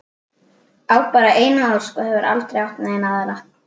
Á bara eina ósk og hefur aldrei átt neina aðra.